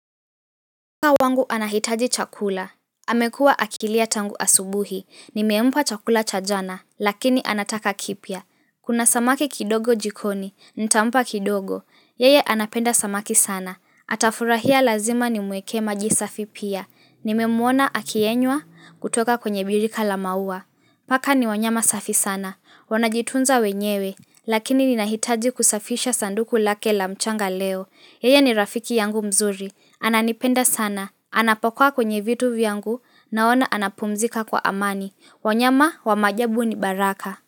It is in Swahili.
Paka wangu anahitaji chakula, amekuwa akilia tangu asubuhi, nimempa chakula cha jana, lakini anataka kipya. Kuna samaki kidogo jikoni, nitampa kidogo, yeye anapenda samaki sana, atafurahia lazima nimueke maji safi pia, nimemwona akiyenywa kutoka kwenye birika la maua. Paka ni wanyama safi sana, wanajitunza wenyewe, lakini ninahitaji kusafisha sanduku lake la mchanga leo. Yeye ni rafiki yangu mzuri, ananipenda sana, anapokuwa kwenye vitu vyangu, naona anapumzika kwa amani. Wanyama wa maajabu ni baraka.